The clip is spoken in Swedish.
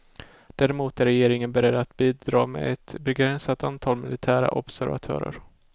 Däremot är regeringen beredd att bidra med ett begränsat antal militära observatörer.